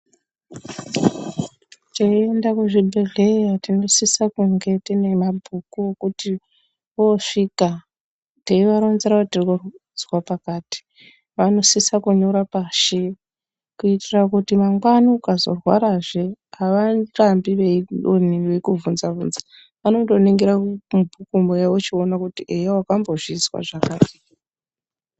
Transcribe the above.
Teienda kuzvibhehleya tinosisa kunge tiinemabhuku okuti voosvika teivaronzera kuti tirikuzwa pakati vanosisa kunyora pashi kuitira kuti mangwani ukazorwarazve avarambi veikubvunza bvunza vanoningira pakanykrwa voziva kuti eya wakambozvizwa zvakati